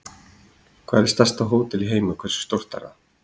Hvar er stærsta hótel í heimi og hversu stórt er það?